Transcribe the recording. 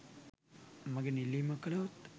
මගෙන් ඉල්ලීමක් කළහොත්